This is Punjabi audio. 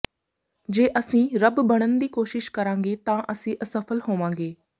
ਜੇ ਅਸੀਂ ਰੱਬ ਬਣਨ ਦੀ ਕੋਸ਼ਿਸ਼ ਕਰਾਂਗੇ ਤਾਂ ਅਸੀਂ ਅਸਫਲ ਹੋਵਾਂਗੇ